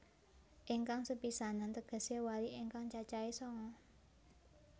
Ingkang sepisanan tegesé wali ingkang cacahe sanga